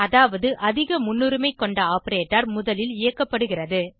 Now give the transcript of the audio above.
அதாவது அதிக முன்னுரிமை கொண்ட ஆப்பரேட்டர் முதலில் இயக்கப்படுகிறது